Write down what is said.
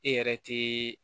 E yɛrɛ te